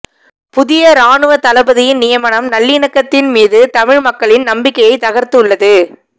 புதிய இராணுவத்தளபதியின் நியமனம் நல்லிணக்கத்தின் மீது தமிழ் மக்களின் நம்பிக்கையை தகர்த்துள்ளது